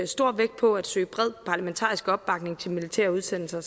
stor vægt på at søge bred parlamentarisk opbakning til militære udsendelser